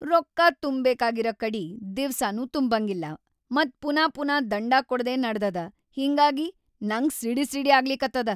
ರೊಕ್ಕಾ ತುಂಬ್‌ಬೇಕಾಗಿರ ಕಡಿ ದಿವ್ಸನೂ ತುಂಬಂಗಿಲ್ಲಾ ಮತ್ ಪುನಾ ಪುನಾ ದಂಡಾ ಕೊಡದೇ ನಡದದ, ಹಿಂಗಾಗಿ ನಂಗ್ ಸಿಡಿಸಿಡಿ ಆಗ್ಲಿಕತ್ತದ.